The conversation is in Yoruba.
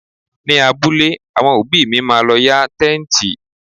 Ní abúlé, àwọn òbí mi má lọ yá Tẹ́ǹtì.